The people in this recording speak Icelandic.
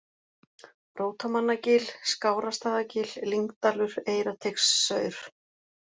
Rótamannagil, Skárastaðagil, Lyngdalur, Eyrarteigsaur